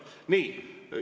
Nii.